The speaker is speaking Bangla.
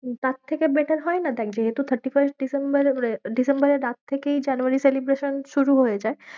তার থেকে better হয় না? দেখ যেহেতু thirty-first ডিসেম্বর ডিসেম্বরের দাগ থেকেই জানুয়ারী celebration শুরু হয়ে যায়।